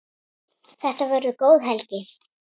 Þetta verður góð helgi.